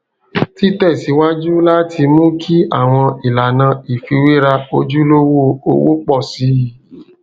títẹsíwájú láti mú kí àwọn ìlànà ìfiwéra ojulowó owo pọ sí i